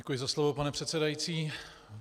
Děkuji za slovo, pane předsedající.